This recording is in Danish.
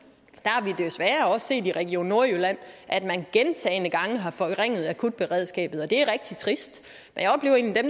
at set i region nordjylland at man gentagne gange har forringet akutberedskabet og det er rigtig trist